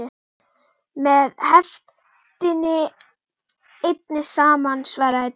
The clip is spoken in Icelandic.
Með heiftinni einni saman, svaraði Daði.